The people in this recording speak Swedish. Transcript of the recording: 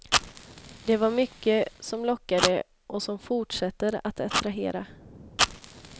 Det var mycket som lockade och som fortsätter att attrahera.